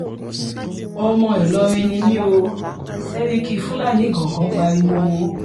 ọmọ ìlọrin ni mi ò sẹ́ríkì fúlàní ìgangan pariwo